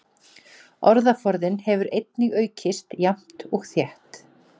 Orðaforðinn hefur einnig aukist jafnt og þétt.